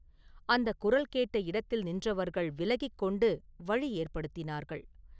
அந்தக் குரல் கேட்ட இடத்தில் நின்றவர்கள் விலகிக் கொண்டு வழி ஏற்படுத்தினார்கள்.